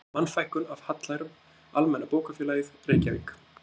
Mannfækkun af hallærum, Almenna bókafélagið, Reykjavík